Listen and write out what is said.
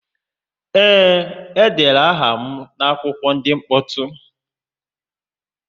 Ee, e dere aha m n'akwụkwọ ndị mkpọtụ